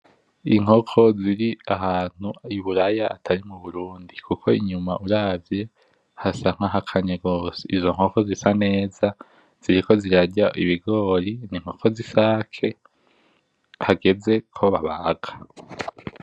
Inkoko ziri ahantu iburaya atari m'uburundi kuko inyuma uravye hasa nka hakanye gose, izo nkoko zisa neza ziriko zirarya ibigori n'inkoko zisake hageze ko babaga.